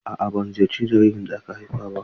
A'a ban ziyarci jaririn da aka haifa ba.